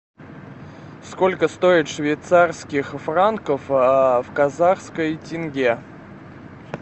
сколько стоит швейцарских франков в казахской тенге